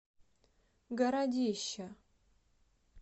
городища